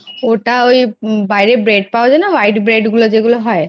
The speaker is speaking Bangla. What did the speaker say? ওটা ওই বাইরে Bread পাওয়া যায়না white bread গুলো যেগুলো হয়